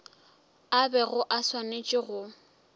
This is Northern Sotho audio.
a bego a swanetše go